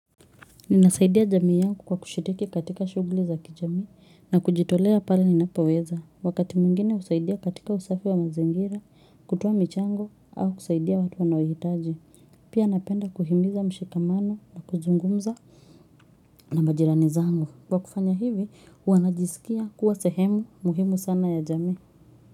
Ninasaidia jamii yangu kwa kushiriki katika shughuli za kijamii na kujitolea pale ninapoweza. Wakati mwingine husaidia katika usafi wa mazingira, kutoa michango au kusaidia watu wanaohitaji. Pia napenda kuhimiza mshikamano na kuzungumza na majirani zangu. Kwa kufanya hivi, huwa najisikia kuwa sehemu muhimu sana ya jamii.